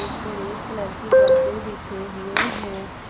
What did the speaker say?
इसमें red colour के गद्दे बिछे हुए हैं।